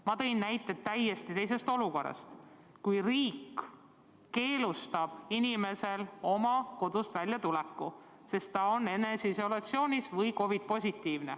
Ma tõin näited täiesti teisest olukorrast: kui riik keelab inimesel kodust välja minna, sest ta on eneseisolatsioonis või tal on COVID-19.